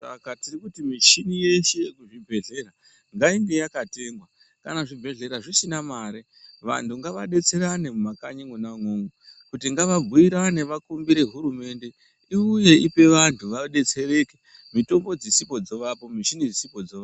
Saka tiri kuti michini yeshe yemuzvibhedhlera ngainge yakatengwa. Kana zvibhedhlera zvisina mare ,vanhu ngavadetserane mumakanyi mwona umwomwo, kuti ngavabhuirane vakumbire hurumende, iwuye ipe vantu vadetsereke mitombo dzisipo dzovapo ,michini dzisipo dzovapo.